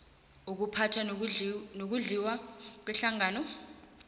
ukuphatha nokudliwa kwehlangano